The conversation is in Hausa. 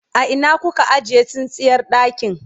a Ina kuka ajiye tsintsiyar ɗakin?